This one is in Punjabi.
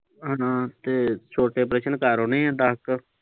ਹਮ ਤੇ ਛੋਟੇ ਪ੍ਰਸ਼ਨ ਕਰਨੇ ਆ ਦਸ ਕੁ।